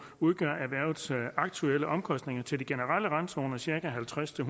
udgør erhvervets aktuelle omkostninger til de generelle randzoner cirka halvtreds til